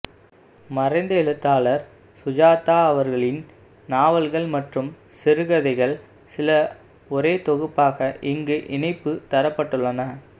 மறைந்த எழுத்தாளர் சுஜாதா அவர்களின் நாவல்கள் மற்றும் சிறுகதைகள் சில ஒரே தொகுப்பாக இங்கு இணைப்பு தரப்பட்டுள்ளன